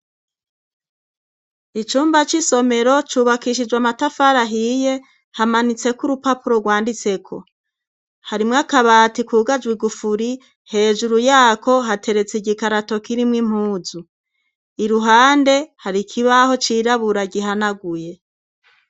Icumba c'isomero cubakishijwe amatafara ahiye hamanitseko urupapuro rwanditseko, harimwo akabati kugajwe igufuri hejuru yako hateretse igikarato kirimwo impuzu, iruhande hari ikibaho cirabura gihanaguye.